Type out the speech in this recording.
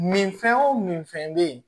Min fɛn o min fɛn bɛ yen